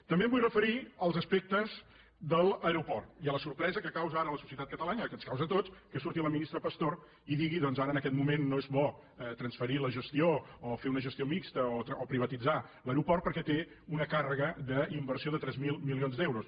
també em vull referir als aspectes de l’aeroport i a la sorpresa que causa ara a la societat catalana que ens causa a tots que surti la ministra pastor i digui doncs ara en aquest moment no és bo transferir la gestió o fer una gestió mixta o privatitzar l’aeroport perquè té una càrrega d’inversió de tres mil milions d’euros